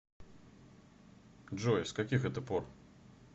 джой с каких это пор